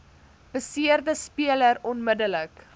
beseerde speler onmiddellik